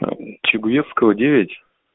чугуевского девять